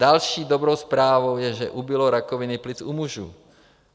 Další dobrou zprávou je, že ubylo rakoviny plic u mužů.